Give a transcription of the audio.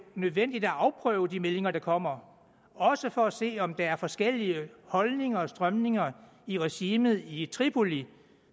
nødvendigt at afprøve de meldinger der kommer også for at se om der er forskellige holdninger og strømninger i regimet i tripoli